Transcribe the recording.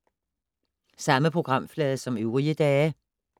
Samme programflade som øvrige dage